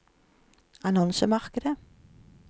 annonsemarkedet